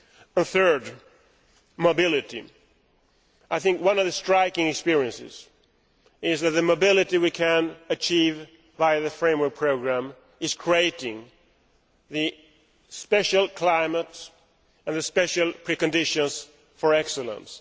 The third point is mobility. I think one of the striking things we have experienced is that the mobility we can achieve via the framework programme is creating the special climate and the special preconditions for excellence.